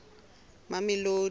mamelodi